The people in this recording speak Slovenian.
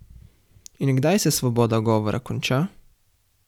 In kdaj se svoboda govora konča?